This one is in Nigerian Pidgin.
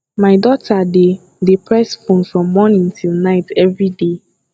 my daughter dey dey press phone from morning till night everyday